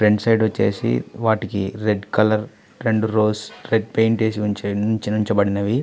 Front side వచ్చేసి వాటికి red colour రెండు ఫ్లోర్సు రెడ్ పెయింట్ వేసి ఉంచ ఉంచబడినవి.